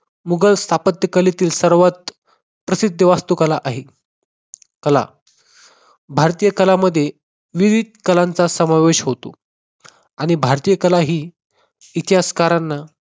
मुघल स्थापत्य कलेतील सर्वात प्रसिद्ध वास्तुकला आहे. कला भारतीय कलांमध्ये विविध कलांचा समावेश होतो आणि भारतीय कला ही इतिहासकारांना